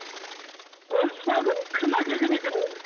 фольксваген кім әкелген екен оны